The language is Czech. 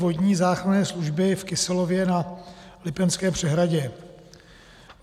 Vodní záchranné služby v Kyselově na Lipenské přehradě.